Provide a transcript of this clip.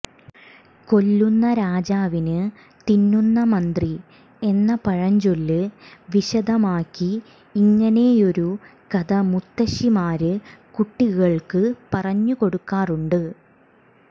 കൊല്ലുന്ന രാജാവിന് തിന്നുന്ന മന്ത്രി എന്ന പഴഞ്ചൊല്ല് വിശദമാക്കി ഇങ്ങനെയൊരു കഥ മുത്തശിമാര് കുട്ടികള്ക്ക് പറഞ്ഞു കൊടുക്കാറുണ്ട്